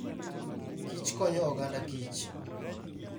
Kich konyo oganda Kich.